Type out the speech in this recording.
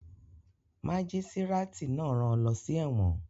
Mágísírátì náà rán an lọ sí ẹ̀wọ̀n